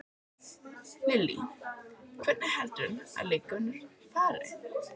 Lillý: Hvernig heldurðu að leikurinn fari?